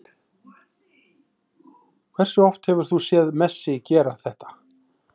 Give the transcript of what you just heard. Hversu oft hefur þú séð Messi gera þetta?